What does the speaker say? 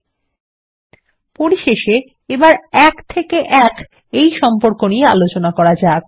এবং পরিশেষে এক থেকে এক সম্পর্ক নিয়ে আলোচনা করা যাক